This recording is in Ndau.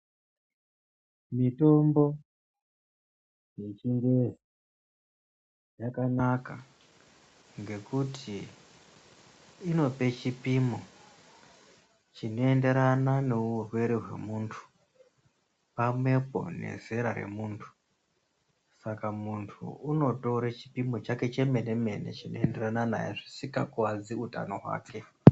Mitombo yechingezi yakanaka ngekuti inope chipimo chinoenderana neurwere hwemuntu pamwepo nezera remuntu Saka muntu unotore chipimo chake chemene-mene chinoenderana naye zvisika kuwadzi utano hwake.